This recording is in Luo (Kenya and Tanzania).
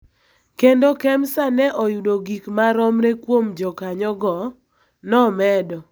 kendo Kemsa ne oyudo gik maromre kuom jokanyogo, nomedo.